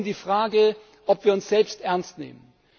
Es geht heute um die Frage, ob wir uns selbst ernst nehmen.